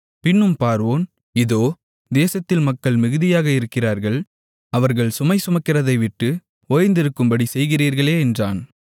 பின்னும் பார்வோன் இதோ தேசத்தில் மக்கள் மிகுதியாக இருக்கிறார்கள் அவர்கள் சுமை சுமக்கிறதைவிட்டு ஓய்ந்திருக்கும்படி செய்கிறீர்களே என்றான்